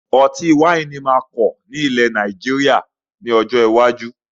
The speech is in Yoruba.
Ọtí ẹlẹ́rìndòdò máa pọ̀ sí ní ilẹ́ Nàìjíríà ni ọjọ́ iwájú